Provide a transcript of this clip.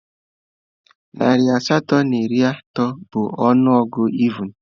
Narị asatọ na iri atọ bụ ọnụ ọgụgụ evụn